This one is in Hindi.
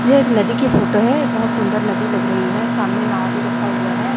यह एक नदी की फोटो है बहोत सुंदर नदी लग रही है सामने नाव भी रखा हुआ है।